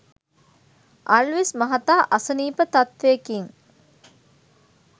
අල්විස් මහතා අසනීප තත්ත්වයකින්